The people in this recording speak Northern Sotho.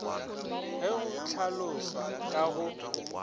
ge go hlalošwa ka go